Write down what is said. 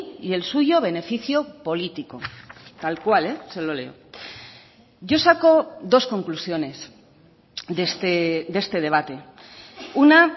y el suyo beneficio político tal cual se lo leo yo saco dos conclusiones de este debate una